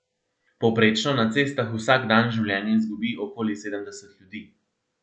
Povprečno na cestah vsak dan življenje izgubi okoli sedemdeset ljudi.